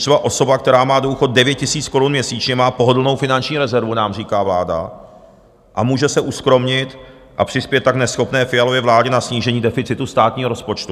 Třeba osoba, která má důchod 9 000 korun měsíčně, má pohodlnou finanční rezervu, nám říká vláda, a může se uskromnit a přispět tak neschopné Fialově vládě na snížení deficitu státního rozpočtu.